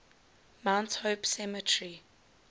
mount hope cemetery